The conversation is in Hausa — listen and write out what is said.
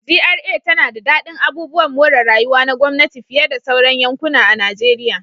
GRA tana jin daɗin abubuwan more rayuwa na gwamnati fiye da sauran yankuna a Najeriya